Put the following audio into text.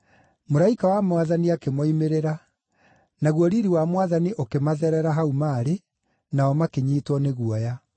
Mũraika wa Mwathani akĩmoimĩrĩra, naguo riiri wa Mwathani ũkĩmatherera hau maarĩ, nao makĩnyiitwo nĩ guoya.